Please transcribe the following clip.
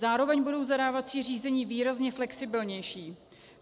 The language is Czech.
Zároveň budou zadávací řízení výrazně flexibilnější.